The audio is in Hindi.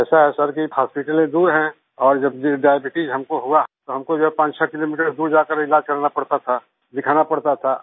ऐसा है सर जी हॉस्पिटलें दूर हैं और जब डायबीट्स हमको हुआ तो हम को जो है 56 किलोमीटर दूर जा कर के इलाज करवाना पड़ता था दिखाना पड़ता था